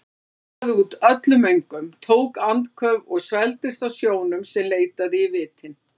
Hann baðaði út öllum öngum, tók andköf og svelgdist á sjónum sem leitaði í vitin.